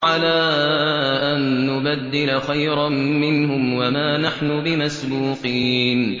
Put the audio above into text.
عَلَىٰ أَن نُّبَدِّلَ خَيْرًا مِّنْهُمْ وَمَا نَحْنُ بِمَسْبُوقِينَ